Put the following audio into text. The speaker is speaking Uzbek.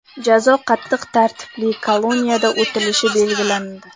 Jazo qattiq tartibli koloniyada o‘talishi belgilandi.